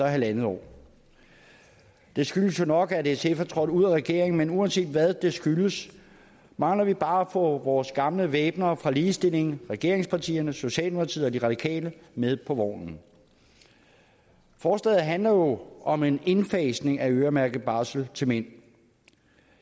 halv år det skyldes jo nok at sf er trådt ud af regeringen men uanset hvad det skyldes mangler vi bare at få vores gamle væbnere fra ligestillingen regeringspartierne socialdemokratiet og de radikale med på vognen forslaget handler jo om en indfasning af øremærket barsel til mænd